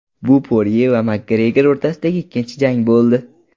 Bu Porye va Makgregor o‘rtasidagi ikkinchi jang bo‘ldi.